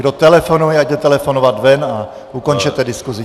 Kdo telefonuje, ať jde telefonovat ven, a ukončete diskusi.